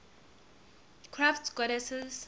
crafts goddesses